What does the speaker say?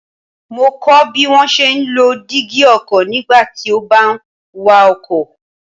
Mo kọ́ ọ bí wón ṣe ń lo dígí ọkọ̀ nígbà tí ó bá ń wa ọkọ̀.